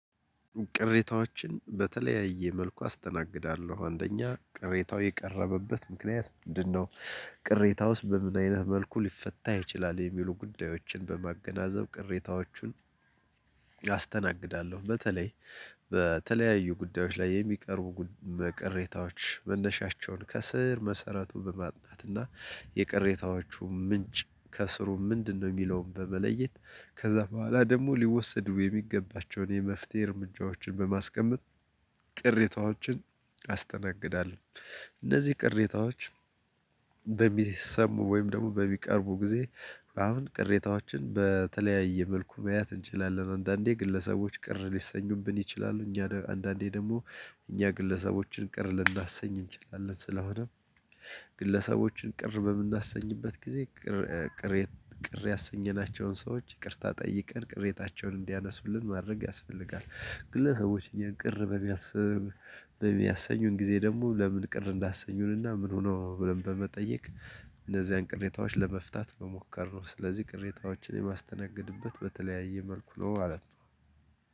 ቅሬታዎችን በተለያየ መልኩ አስተናግዳለሁ አንደኛ ቅሬታው የቀረበበት ምክንያት ምንድን ነው? ቅሬታውስ በምን አይነት መልኩ ሊፈታ ይችላል የሚሉ ጉዳዮችን በማገናዘብ ቅሬታዎቹን አስተናግዳለሁ። በተለይ በተለያዩ ጉዳዮች ላይ የሚቀርቡ ቅሬታዎች መነሻቸውን ከስር መሰረቱ በማጥናት እና የቅሬታዎቹ ምንጭ ከስሩ ምንድነው ሚለውን በመለየት ከዛ በኋላ ደግሞ ሊወሰዱ የሚገባቸውን የመፍትሄ እርምጃዎችን በማስቀመጥ ቅሬታዎችን አስተናግዳለሁ። እነዚህ ቅሬታዎች በሚሰሙ ወይም ደግሞ በሚቀርቡ ጊዜ አሁን ቅሬታዎችን በተለያየ መልኩ መያዝ እንችላለን። አንዳንዴ ግለሰቦች ቅር ሊሰኙብን ይችላሉ እኛ አንዳንዴ ደግሞ እኛ ግለሰቦችን ቅር ልናሰኝ እንችላለን። ስለሆነም ግለሰቦችን ቅር በምናሰኝበት ጊዜ ቅር ያሰኘናቸውን ሰዎች ይቅርታ ጠይቀን ቅሬታቸውን እንዲያነሱልን ማድረግ ያስፈልጋል። ግለሰቦች እኛን ቅር በሚያሰኙን ጊዜ ደግሞ ለምን ቅር እንዳሰኙን እና ምን ሆኖ ብለን በመጠየቅ እነዚያን ቅሬታዎች ለመፍታት መሞከር ነው። ስለዚህ ቅሬታዎችን የማስተናገድበት በተለያየ መልኩ ነው ማለት ነው።